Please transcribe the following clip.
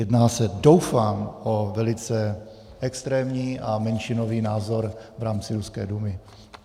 Jedná se doufám o velice extrémní a menšinový názor v rámci ruské Dumy.